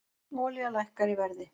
Olía lækkar í verði